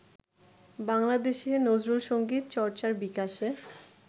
বাংলাদেশে নজরুল সঙ্গীত চর্চার বিকাশে